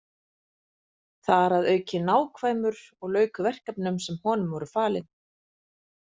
Þar að auki nákvæmur og lauk verkefnum sem honum voru falin.